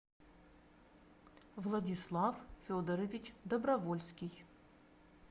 владислав федорович добровольский